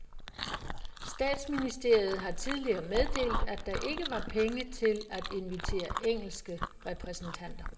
Statsministeriet har tidligere meddelt, at der ikke var penge til at invitere engelske repræsentanter.